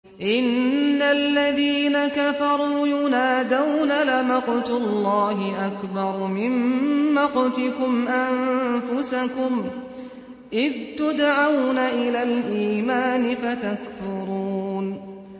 إِنَّ الَّذِينَ كَفَرُوا يُنَادَوْنَ لَمَقْتُ اللَّهِ أَكْبَرُ مِن مَّقْتِكُمْ أَنفُسَكُمْ إِذْ تُدْعَوْنَ إِلَى الْإِيمَانِ فَتَكْفُرُونَ